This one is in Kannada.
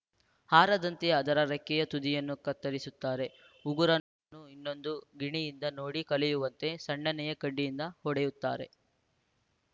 ಹಾರದಂತೆ ಅದರ ರೆಕ್ಕೆಯ ತುದಿಯನ್ನು ಕತ್ತರಿಸುತ್ತಾರೆ ಉಗುರನ್ನೂ ಇನ್ನೊಂದು ಗಿಣಿಯನ್ನು ನೋಡಿ ಕಲಿಯುವಂತೆ ಸಣ್ಣನೆಯ ಕಡ್ಡಿಯಿಂದ ಹೊಡೆಯುತ್ತಾರೆ